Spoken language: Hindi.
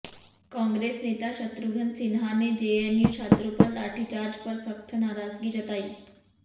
कांग्रेस नेता शत्रुघ्न सिन्हा ने जेएनयू छात्रों पर लाठीचार्ज पर सख्त नाराजगी जताई